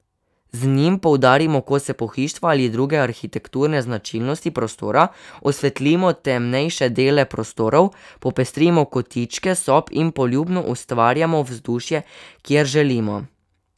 Z njim poudarimo kose pohištva ali druge arhitekturne značilnosti prostora, osvetlimo temnejše dele prostorov, popestrimo kotičke sob in poljubno ustvarjamo vzdušje, kjer želimo.